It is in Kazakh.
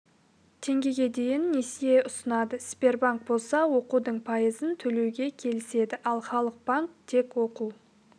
теңгеге дейін несие ұсынады сбербанк болса оқудың пайызын төлеуге келіседі ал халық банк тек оқу